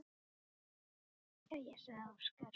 Jæja, sagði Óskar.